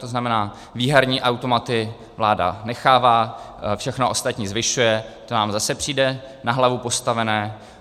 To znamená, výherní automaty vláda nechává, všechno ostatní zvyšuje, nám to zase přijde na hlavu postavené.